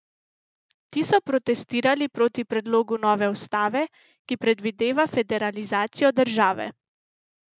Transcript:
Ti so protestirali proti predlogu nove ustave, ki predvideva federalizacijo države.